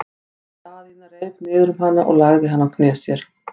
Daðína reif niður um hana og lagði hana á hné sér.